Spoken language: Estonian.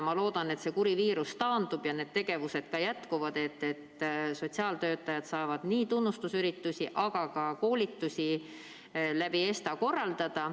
Ma loodan, et see kuri viirus taandub ja need tegevused jätkuvad, nii et sotsiaaltöötajad saavad ESTA kaudu korraldada nii tunnustusüritusi kui ka koolitusi.